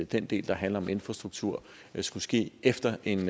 den del der handler om infrastruktur skulle ske efter en